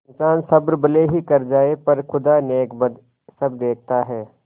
इन्सान सब्र भले ही कर जाय पर खुदा नेकबद सब देखता है